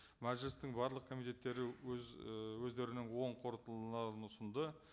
мәжілістің барлық комитеттері өз і өздерінің оң қорытындыларын ұсынды